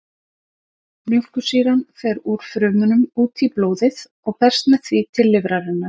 Mjólkursýran fer úr frumunum út í blóðið og berst með því til lifrarinnar.